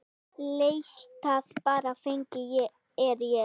Leitið bara, feginn er ég.